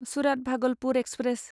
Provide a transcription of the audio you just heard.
Surat Bhagalpur express